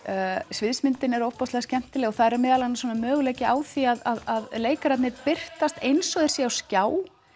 sviðsmyndin er ofboðslega skemmtileg og þar er meðal annars möguleiki á því að leikararnir birtast eins og þeir séu á skjá